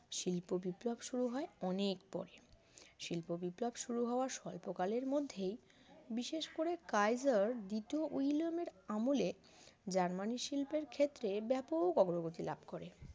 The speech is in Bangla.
শিল্প বিপ্লব শুরু হয় অনেক পরে শিল্প বিপ্লব শুরু হওয়ার স্বল্প কালের মধ্যেই বিশেষ করে কাইজার দ্বিতীয় উইলিয়ামের আমলে জার্মানির শিল্পের ক্ষেত্রে ব্যাপক অগ্রগতি লাভ করে